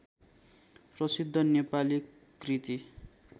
प्रसिद्ध नेपाली कृति